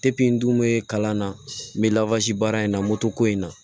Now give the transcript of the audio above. n dun be kalan na n be baara in na moto ko in na